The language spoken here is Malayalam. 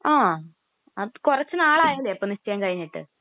ങാ..അപ്പൊ കുറച്ചുനാളയല്ലേ അപ്പൊ നിശ്ചയം കഴിഞ്ഞിട്ട്?